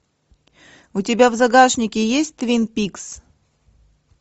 у тебя в загашнике есть твин пикс